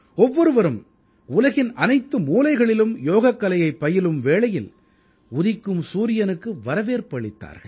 ஒவ்வொருவரும் உலகின் அனைத்து மூலைகளிலும் யோகக்கலையைப் பயிலும் வேளையில் உதிக்கும் சூரியனுக்கு வரவேற்பு அளித்தார்கள்